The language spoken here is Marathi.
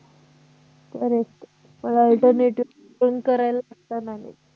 correct पण alternative पण करायला लागत ना ग